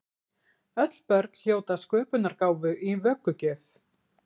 Öll börn hljóta sköpunargáfu í vöggugjöf.